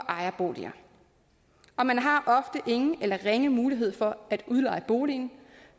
ejerboliger og man har ofte ingen eller ringe mulighed for at udleje boligen